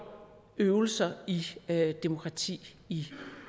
øvelser i demokrati i